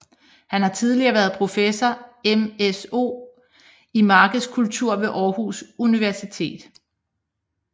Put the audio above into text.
Han har tidligere været professor MSO i markedskultur ved Aarhus Universitet